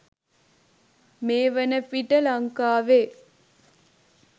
මේ වන විට ලංකාවේ